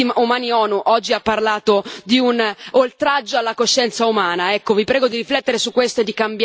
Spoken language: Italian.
Anche l'Alto Commissario per i diritti umani dell'ONU oggi ha parlato di un oltraggio alla coscienza umana.